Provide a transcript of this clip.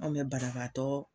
Anw bɛ banabaatɔ.